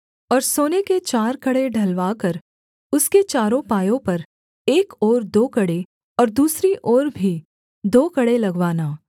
और सोने के चार कड़े ढलवा कर उसके चारों पायों पर एक ओर दो कड़े और दूसरी ओर भी दो कड़े लगवाना